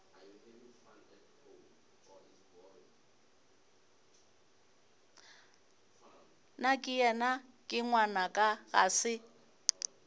nakeyena ke ngwanaka ga se